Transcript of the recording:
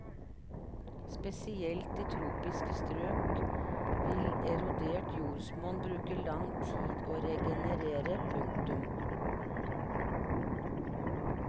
Spesielt i tropiske strøk vil erodert jordsmonn bruke lang tid å regenerere. punktum